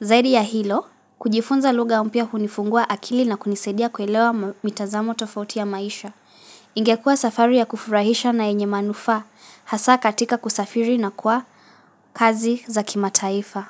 Zaidi ya hilo, kujifunza lugha umpia hunifungua akili na kunisaidia kuelewa mitazamo tofauti ya maisha. Ingekuwa safari ya kufurahisha na yenye manufaa, hasa katika kusafiri na kwa kazi za kimataifa.